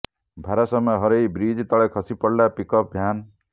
ଭାରସାମ୍ୟ ହରାଇ ବ୍ରିଜ ତଳେ ଖସି ପଡ଼ିଲା ପିକଅପ୍ ଭ୍ୟାନ୍